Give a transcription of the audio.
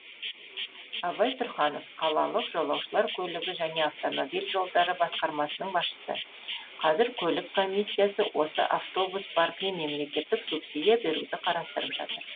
абай тұрханов қалалық жолаушылар көлігі және автомобиль жолдары басқармасының басшысы қазір көлік комиссиясы осы автобус паркіне мемлекеттік субсидия беруді қарастырып жатыр